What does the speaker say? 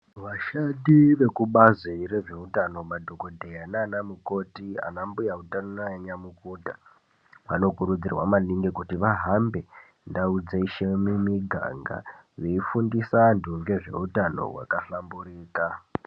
Vashandi vekubazi rezvehutano madhokodheya nana mukoti ana mbuya utano nana nyamukuta vanokurudzirwa maningi kuti vahambe ndau dzeshe mumiganga veifundisa antu nezvehutano wakahlamburika.